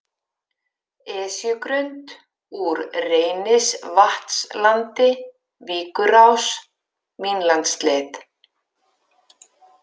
Esjugrund, Úr Reynisvatnslandi, Víkurás, Vínlandsleið